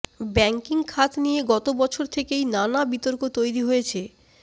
banking খাত নিয়ে গত বছর থেকেই নানা বিতর্ক তৈরি হয়েছে